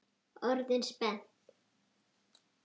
Orðin spennt?